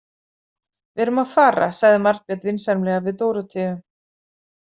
Við erum að fara, sagði Margrét vinsamlega við Dóróteu.